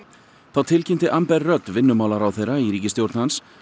þá tilkynnti rudd vinnumálaráðherra í ríkisstjórn hans